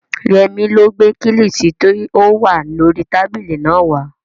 Yẹmí ló gbé kílìṣí tí ó wà lórii tábìlì náà wá